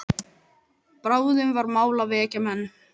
Bráðum var mál að vekja menn.